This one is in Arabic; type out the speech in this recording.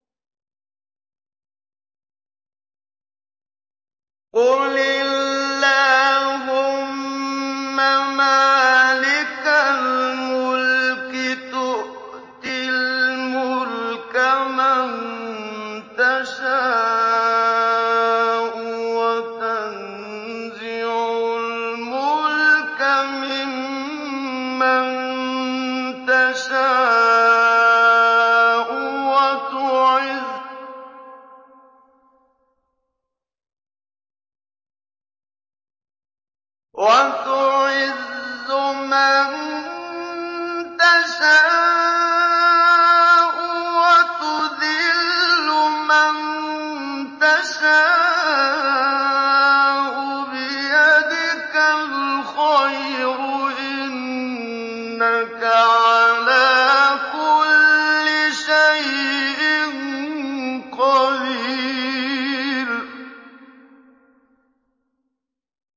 قُلِ اللَّهُمَّ مَالِكَ الْمُلْكِ تُؤْتِي الْمُلْكَ مَن تَشَاءُ وَتَنزِعُ الْمُلْكَ مِمَّن تَشَاءُ وَتُعِزُّ مَن تَشَاءُ وَتُذِلُّ مَن تَشَاءُ ۖ بِيَدِكَ الْخَيْرُ ۖ إِنَّكَ عَلَىٰ كُلِّ شَيْءٍ قَدِيرٌ